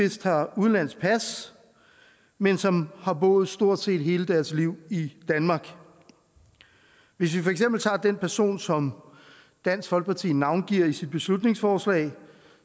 vist har udenlandsk pas men som har boet stort set hele deres liv i danmark hvis vi for eksempel tager den person som dansk folkeparti navngiver i sit beslutningsforslag